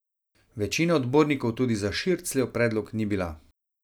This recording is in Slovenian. Večina odbornikov tudi za Šircljev predlog ni bila.